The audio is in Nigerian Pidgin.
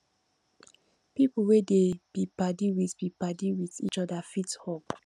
pipo wey dey be padi with be padi with each oda fit hug